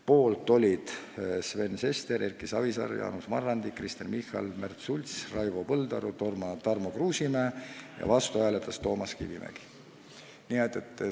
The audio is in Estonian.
Poolt olid Sven Sester, Erki Savisaar, Jaanus Marrandi, Kristen Michal, Märt Sults, Raivo Põldaru ja Tarmo Kruusimäe, vastu hääletas Toomas Kivimägi.